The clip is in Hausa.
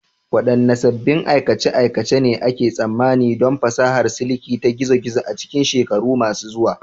Waɗanne sabbin aikace-aikace ne ake tsammanin don fasahar siliki ta gizo-gizo a cikin shekaru masu zuwa?